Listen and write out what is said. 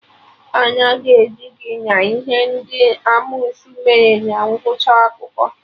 Anya ga-eju gị na ihe ndị amosu mere na ngwụcha akụkọ